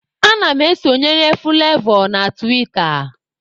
Ana m esonyere Fụlavọ na tiwita.